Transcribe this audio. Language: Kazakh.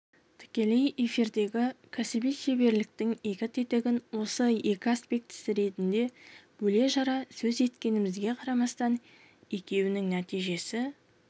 тікелей эфирдегі кәсіби шеберліктің екі тетігін оның екі аспектісі ретінде бөле-жара сөз еткенімізге қарамастан екеуінің нәтижесі